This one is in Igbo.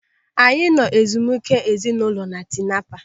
Anyị nọ ezumike ezinaụlọ na Tinapa.